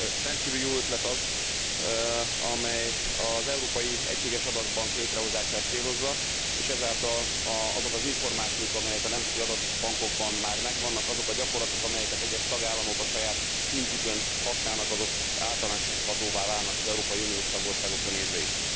Rendkívül jó ötlet az, amely az európai egységes adatbank létrehozását célozza, és ezáltal azok az információk, amelyek a nemzeti adatbankokban már megvannak, azok a gyakorlatok, amelyeket egyes tagállamok a saját szintjükön használnak, azok általánosíthatóvá válnak az európai uniós tagországokra nézve is.